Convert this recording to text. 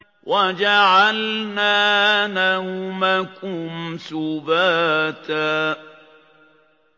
وَجَعَلْنَا نَوْمَكُمْ سُبَاتًا